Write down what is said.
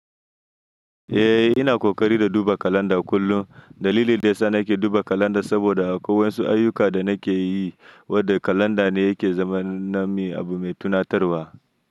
Eh, ina ƙoƙari da duba kalanda kullum. Dalili dayasa nake duba kalanda saboda akok wasu ayyuka da nake yi, wadda kalanda ne yake zama na mi abu mai tunatarwa.